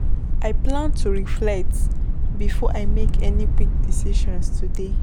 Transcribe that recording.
I plan to reflect before I make any quick decisions today.